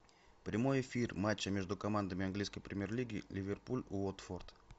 прямой эфир матча между командами английской премьер лиги ливерпуль уотфорд